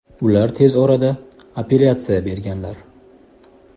Ular tez orada apellyatsiya berganlar.